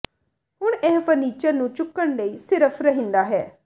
ਹੁਣ ਇਹ ਫਰਨੀਚਰ ਨੂੰ ਚੁੱਕਣ ਲਈ ਸਿਰਫ ਰਹਿੰਦਾ ਹੈ